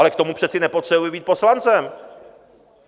Ale k tomu přece nepotřebuje být poslancem.